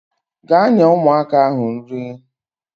Gaa nye ụmụaka ahụ nri